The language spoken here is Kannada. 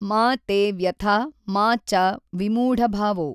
ಮಾ ತೇ ವ್ಯಥಾ ಮಾ ಚ ವಿಮೂಢಭಾವೋ